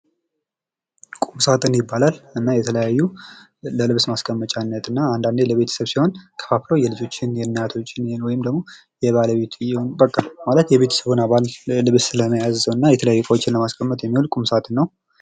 ቁምሳጥን ይባላል ።እና የተለያዩ ለልብስ ማስቀመጫነት እና አንዳንዴ ለቤተሰብ ሲሆን የልጆችን ፣የእናቶችን ወይም ደግሞ የባለቤትየውን በቃ ማለት የቤተሰቡን አባል ልብስ ለመያዝ እና የተለያዩ እቃዎችን ለማስቀመጥ የሚውል ቁም ሳጥን ነው።